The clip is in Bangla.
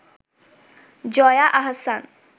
জয়া আহসান